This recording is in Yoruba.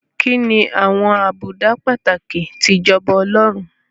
Kí ni àwọn àbùdá pàtàkì ti ìjọba Ọlọ́run?